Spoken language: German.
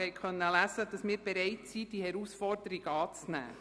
Sie konnten auch lesen, dass wir bereit sind, die Herausforderung anzunehmen.